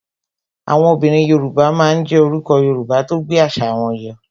Àwọn obìnrin Yoruba máa ń jé orúkọ Yorùbá tó gbé àṣà wọn yọ